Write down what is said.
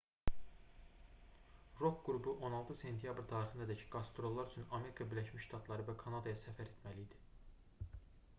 rok qrupu 16 sentyabr tarixinədək qastrollar üçün amerika birləşmiş ştatları və kanadaya səfər etməli idi